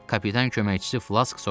Kapitan köməkçisi Flask soruşdu.